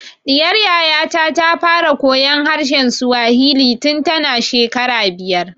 Ɗiyar Yaya ta ta fara koyan harshen Swahili tun ta na shekara biyar